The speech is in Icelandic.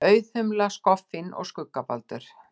Auðhumla, skoffín og skuggabaldur.